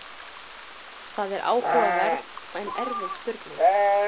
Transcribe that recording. Þetta er áhugaverð en erfið spurning.